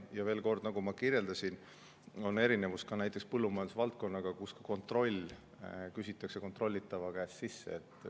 Ja veel kord: nagu ma kirjeldasin, siin on erinevus ka näiteks põllumajanduse valdkonnaga, kus kontroll küsitakse kontrollitava käest sisse.